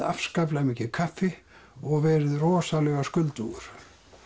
afskaplega mikið kaffi og verið rosalega skuldugur